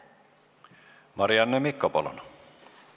Marianne Mikko, palun!